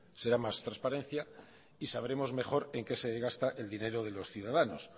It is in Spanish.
será más transparencia y sabremos mejor en qué se gasta el dinero de los ciudadanos